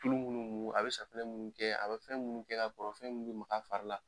Tulu munnu mu, a bɛ safunɛ mun kɛ, a bɛ fɛn munnu kɛ ka kɔrɔ, fɛn min be mag'a fari la.